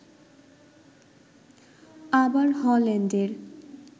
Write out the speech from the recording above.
আবার হল্যান্ডের